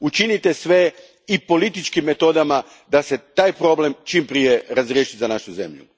Učinite sve i političkim metodama da se taj problem čim prije razriješi za našu zemlju.